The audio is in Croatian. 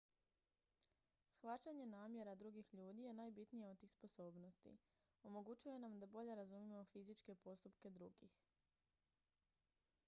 shvaćanje namjera drugih ljudi je najbitnija od tih sposobnosti omogućuje nam da bolje razumijemo fizičke postupke drugih